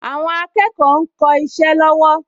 Àwọn akẹ́kọ̀ọ ń kọ isẹ́ lọ́wọ́